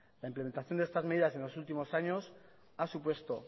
la implementación de estas medidas en los últimos años ha supuesto